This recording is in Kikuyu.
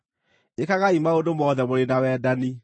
Ĩkagai maũndũ mothe mũrĩ na wendani.